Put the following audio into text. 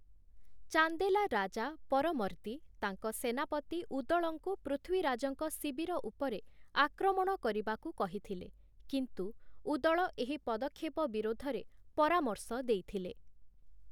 ଚାନ୍ଦେଲା ରାଜା ପରମର୍ଦି ତାଙ୍କ ସେନାପତି ଉଦଳଙ୍କୁ ପୃଥ୍ୱୀରାଜଙ୍କ ଶିବିର ଉପରେ ଆକ୍ରମଣ କରିବାକୁ କହିଥିଲେ, କିନ୍ତୁ ଉଦଳ ଏହି ପଦକ୍ଷେପ ବିରୋଧରେ ପରାମର୍ଶ ଦେଇଥିଲେ ।